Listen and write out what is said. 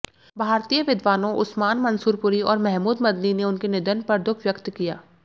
भारतीय विद्वानों उस्मान मंसूरपुरी और महमूद मदनी ने उनके निधन पर दुख व्यक्त किया